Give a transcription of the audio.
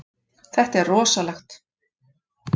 Þetta er rosalegt.